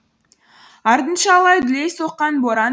артынша алай дүлей соққан боран